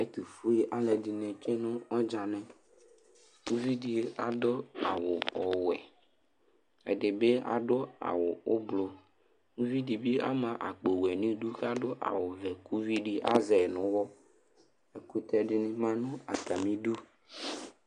Ɛtʋfue alʋɛdɩnɩ tsue nʋ ɔdzanɩ Uvi dɩ adʋ awʋ ɔwɛ Ɛdɩ bɩ adʋ awʋ ʋblʋ Uvi dɩ bɩ ama akpowɛ nʋ idu kʋ adʋ awʋvɛ kʋ uvi dɩ azɛ yɩ nʋ ʋɣɔ Ɛkʋtɛ dɩnɩ bɩ ma nʋ atamɩdu